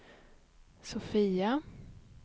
Sofia